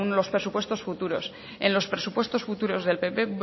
los presupuestos futuros en los presupuestos futuros del pp